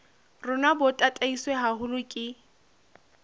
rona bo tataiswe haholo ke